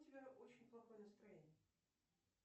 у тебя очень плохое настроение